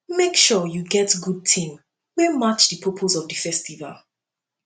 make sure you get good theme wey match di purpose of di festival